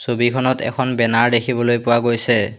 ছবিখনত এখন বেনাৰ দেখিবলৈ পোৱা গৈছে।